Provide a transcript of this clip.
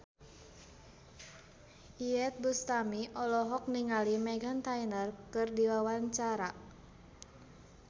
Iyeth Bustami olohok ningali Meghan Trainor keur diwawancara